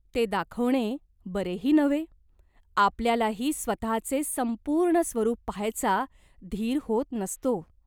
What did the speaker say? ते दाखवणे बरेही नव्हे. आपल्यालाही स्वतहाचे संपूर्ण स्वरूप पाहायचा धीर होत नसतो.